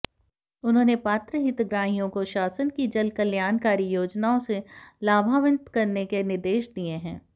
उन्होने पात्र हितग्राहियों कोे शासन की जनकल्याणकारी योजनाओं से लाभान्वित करने के निर्देश दिये हैं